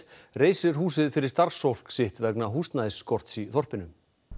reisir húsið fyrir starfsfólk sitt vegna húsnæðisskorts í þorpinu